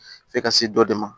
F'e ka se dɔ de ma